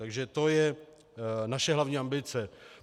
Takže to je naše hlavní ambice.